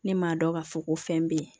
Ne m'a dɔn k'a fɔ ko fɛn bɛ yen